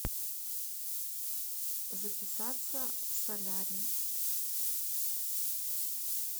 записаться в солярий